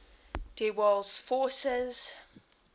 der waals forces